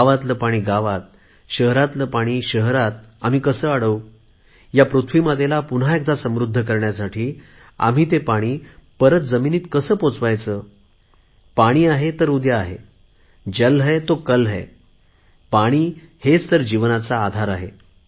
गावातल पाणी गावात शहरातले पाणी शहरात आम्ही कसे अडवु या पृथ्वी मातेला पुन्हा एकदा समृद्ध करण्यासाठी आपण ते पाणी परत जमिनीत कसे पोहचवायचे पाणी आहे तर भविष्य आहे जल हे तो कल है पाणी हेच तर जीवनाचा आधार आहे